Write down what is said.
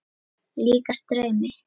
Líkast draumi.